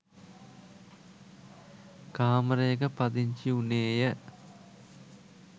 කාමරයක පදිංචි උනේය.